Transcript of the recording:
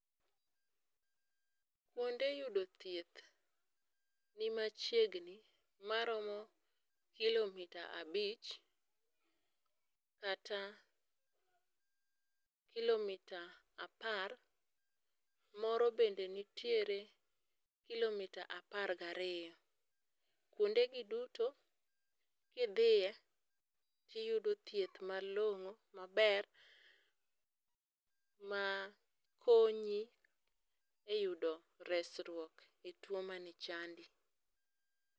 Kuonde yudo thieth ni machiegni maromo kilomita abich kata kilomita apar. Moro bende nitiere kilomita apar gariyo. Kuondegi duto kidhiye tiyudo thieth malong'o maber ma konyi e yudo resruok e tuo mane chandi.